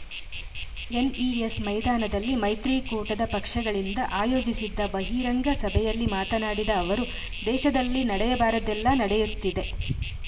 NES ಮೈದಾನದಲ್ಲಿ ಮೈತ್ರಿಕೂಟದ ಪಕ್ಷಗಳಿಂದ ಆಯೋಜಿಸಿದ್ದ ಬಹಿರಂಗ ಸಭೆಯಲ್ಲಿ ಮಾತನಾಡಿದ ಅವರು ದೇಶದಲ್ಲಿ ನಡೆಯಬಾರದ್ದೆಲ್ಲಾ ನಡೆಯುತ್ತಿದೆ